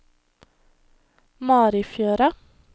Marifjøra